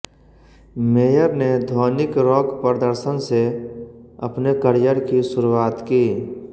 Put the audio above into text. mayor ने ध्वनिक rock प्रदर्शन से अपने करियर की शुरुआत की